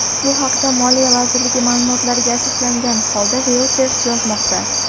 Bu haqda moliya vazirligi ma’lumotlariga asoslangan holda Reuters yozmoqda .